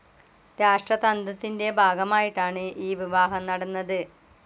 രാഷ്ട്രതന്ത്രത്തിന്റെ ഭാഗമായിട്ടാണ് ഈ വിവാഹം നടന്നത്.